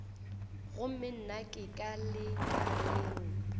gomme nna ke ka lekaleng